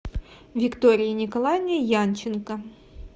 виктории николаевне янченко